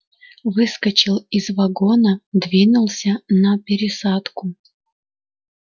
выскочил из вагона двинулся на пересадку